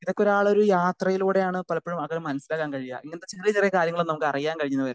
Speaker 2 ഇതൊക്കെ ഒരാളെ ഒരു യാത്രയിലൂടെയാണ് പലപ്പോഴും അത് മനസ്സിലാക്കാൻ കഴിയാ ഇങ്ങനത്തെ ചെറിയ ചെറിയ കാര്യങ്ങൾ അറിയാൻ കഴിഞ്ഞെന്നു വരില്ല.